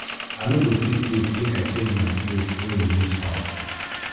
i no go fit wait make i change my cloth wen we reach house